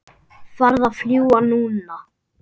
Farðu að fljúga, núna